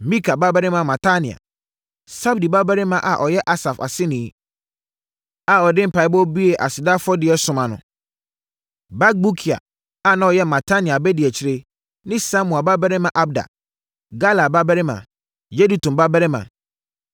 Mika babarima Matania, Sabdi babarima a ɔyɛ Asaf aseni a ɔde mpaeɛbɔ buee aseda afɔdeɛ som ano; Bakbukia a na ɔyɛ Matania abadiakyire ne Samua babarima Abda, Galal babarima, Yedutun babarima.